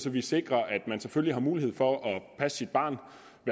at vi sikrer at man selvfølgelig har mulighed for at passe sit barn